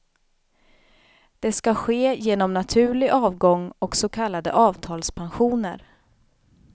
Det skall ske genom naturlig avgång och så kallade avtalspensioner.